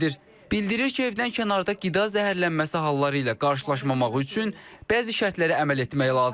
Bildirir ki, evdən kənarda qida zəhərlənməsi halları ilə qarşılaşmamaq üçün bəzi şərtlərə əməl etmək lazımdır.